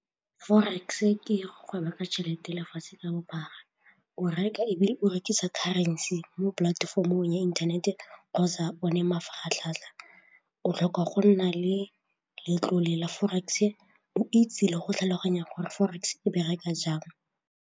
Forex ke go ka tšhelete lefatshe ka bophara o reka ebile o rekisa currency mo polatefomong ya inthanete kgotsa o ne mafaratlhatlha, o tlhoka go nna le letlole la forex go itse le go tlhaloganya gore forex e bereka jang.